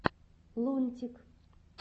лунтик